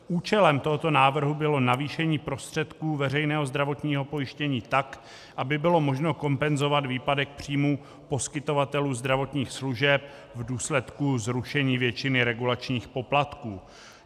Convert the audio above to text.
Účelem tohoto návrhu bylo navýšení prostředků veřejného zdravotního pojištění tak, aby bylo možno kompenzovat výpadek příjmů poskytovatelů zdravotních služeb v důsledku zrušení většiny regulačních poplatků.